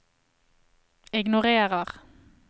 ignorer